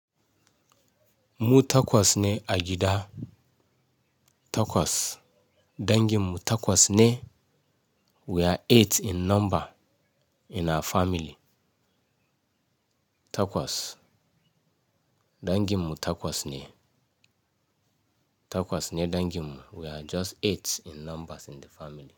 Mu takwas ne a gida takwas. Danginmu takwas ne. We are eight in number in our family. Takwas. Danginmu takwas ne. Takwas ne danginmu. We are just eight in numbers in the family.